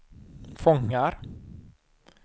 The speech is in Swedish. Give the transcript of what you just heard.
fångar